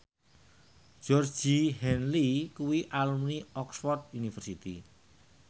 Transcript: Georgie Henley kuwi alumni Oxford university